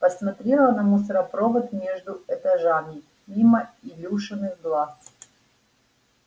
посмотрела на мусоропровод между этажами мимо илюшиных глаз